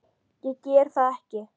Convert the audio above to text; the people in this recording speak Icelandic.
Ég geri það ekki.